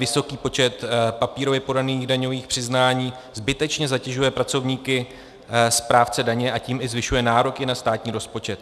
Vysoký počet papírově podaných daňových přiznání zbytečně zatěžuje pracovníky správce daně, a tím i zvyšuje nároky na státní rozpočet.